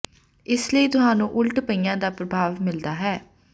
ਇਸ ਲਈ ਤੁਹਾਨੂੰ ਉਲਟ ਪਈਆਂ ਦਾ ਪ੍ਰਭਾਵ ਮਿਲਦਾ ਹੈ